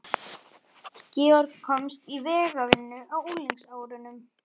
Georg komst í vegavinnu á unglingsárunum.